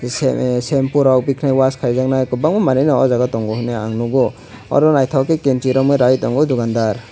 seme shampoo rok bikhwnai wash khaijaknai kwbangma manui rok o jaga tongo hinui ang nukgo oro naithok khe kenchi romwi rai tongo oh dukandar.